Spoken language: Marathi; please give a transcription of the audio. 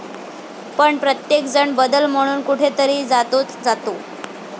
पण प्रत्येकजण बदल म्हणून कुठेतरी जातोच जातो.